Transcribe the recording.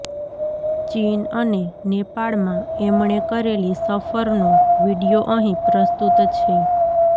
ચીન અને નેપાળમાં એમણે કરેલી સફરનો વિડિયો અહીં પ્રસ્તુત છે